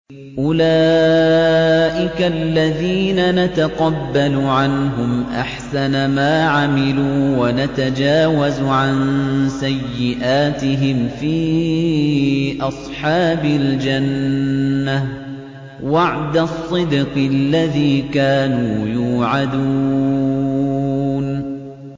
أُولَٰئِكَ الَّذِينَ نَتَقَبَّلُ عَنْهُمْ أَحْسَنَ مَا عَمِلُوا وَنَتَجَاوَزُ عَن سَيِّئَاتِهِمْ فِي أَصْحَابِ الْجَنَّةِ ۖ وَعْدَ الصِّدْقِ الَّذِي كَانُوا يُوعَدُونَ